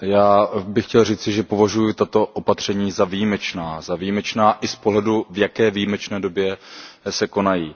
Paní předsedající, já bych chtěl říci, že považuji tato opatření za výjimečná, za výjimečná i z pohledu, v jaké výjimečné době se konají.